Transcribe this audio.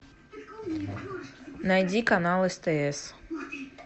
найди канал стс